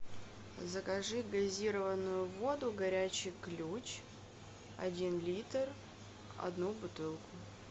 закажи газированную воду горячий ключ один литр одну бутылку